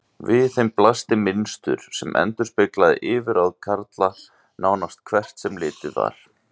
Við þeim blasti mynstur sem endurspeglaði yfirráð karla, nánast hvert sem litið var.